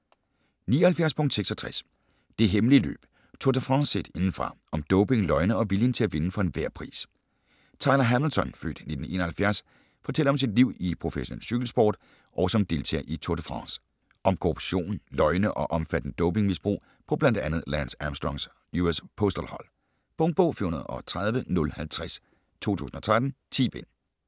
79.66 Det hemmelige løb: Tour de France set indefra - om doping, løgne og viljen til at vinde for enhver pris Tyler Hamilton (f. 1971) fortæller om sit liv i professionel cykelsport og som deltager i Tour de France. Om korruption, løgne og omfattende dopingmisbrug på blandt andet Lance Armstrongs US Postal hold. Punktbog 413050 2013. 10 bind.